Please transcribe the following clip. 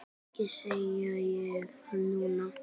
Ekki segi ég það nú.